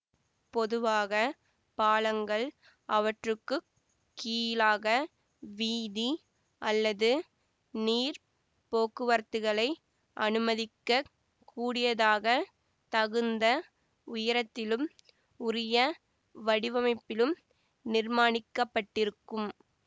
பொதுவாக பாலங்கள் அவற்றுக்குக் கீழாக வீதி அல்லது நீர் போக்குவரத்துக்களை அனுமதிக்க கூடியதாக தகுந்த உயரத்திலும் உரிய வடிவமைப்பிலும் நிர்மாணிக்கப்பட்டிருக்கும்